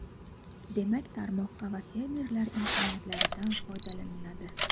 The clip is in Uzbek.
Demak, tomorqa va fermerlar imkoniyatidan foydalaniladi.